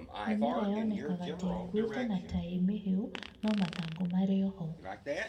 Mĩmera yonekaga teĩkuĩte na tĩmĩhĩu no mathangũ marĩoho.